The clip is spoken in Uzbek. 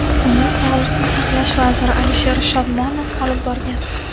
Uni sog‘liqni saqlash vaziri Alisher Shodmonov olib borgan.